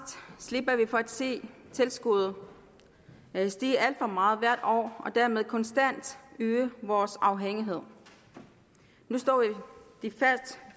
slipper vi for at se tilskuddet stige alt for meget hvert år og dermed konstant øge vores afhængighed nu står det